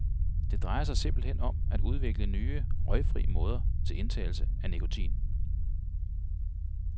Det drejer sig simpelt hen om at udvikle nye, røgfri måder til indtagelse af nikotin.